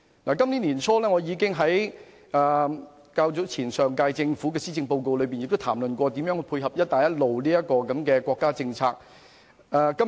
在今年年初討論上屆政府的施政報告時，我已就如何配合"一帶一路"的國家政策發言。